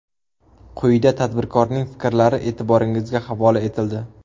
Quyida tadbirkorning fikrlari e’tiboringizga havola etildi.